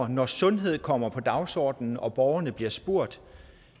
når sundhed kommer på dagsordenen og borgerne bliver spurgt